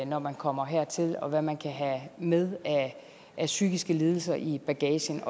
når man kommer hertil og hvad man kan have med af psykiske lidelser i bagagen